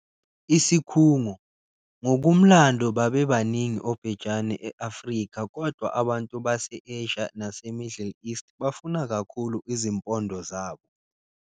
Isikhungo- Ngokumlando babebaningi obhejane e-Afrika kodwa abantu base-Asia nase-Middle East bafuna kakhulu izimpondo zabo.